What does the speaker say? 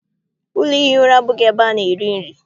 Ụlọ ihi ura abụghị ebe ana- eri nri.